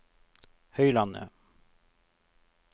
Høylandet